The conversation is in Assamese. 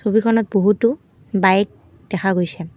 ছবিখনত বহুতো বাইক দেখা গৈছে।